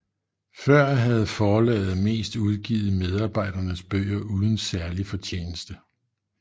Før havde forlaget mest udgivet medarbejdernes bøger uden særlig fortjeneste